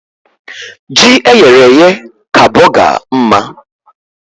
Ji eyere èyé ka bọgar mma